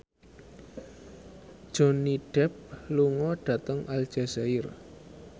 Johnny Depp lunga dhateng Aljazair